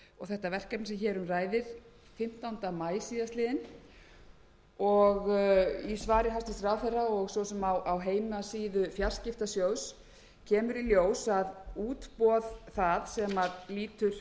þetta verkefni sem hér um ræðir fimmtánda maí síðastliðinn og í svari hæstvirts ráðherra og svo sem á heimasíðu fjarskiptasjóðs kemur í ljós að útboð það sem lýtur